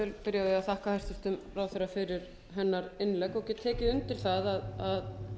að þakka hæstvirtum ráðherra fyrir hennar innlegg og get tekið undir hennar hvatningu